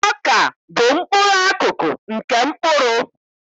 Ọka bụ mkpụrụakụkpụ nke mkpụrụ